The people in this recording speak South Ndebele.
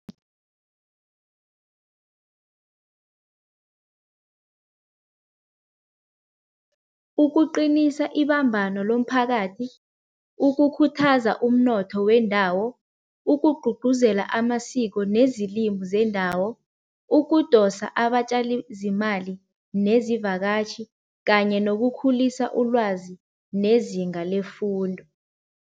Ukuqinisa ibambano lomphakathi, ukukhuthaza umnotho wendawo, ukugqugquzela amasiko nezilimu zendawo, ukudosa abatjali zimali nezivakatjhi kanye nokukhulisa ulwazi nezinga lefundo.